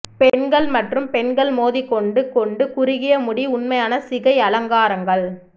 பெண்கள் மற்றும் பெண்கள் மோதிக்கொண்டு கொண்டு குறுகிய முடி உண்மையான சிகை அலங்காரங்கள்